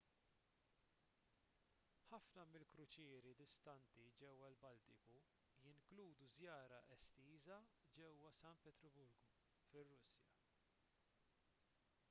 ħafna mill-kruċieri distinti ġewwa l-baltiku jinkludu żjara estiża ġewwa san pietruburgu fir-russja